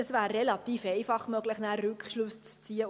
Es wäre relativ einfach, anschliessend Rückschlüsse zu ziehen.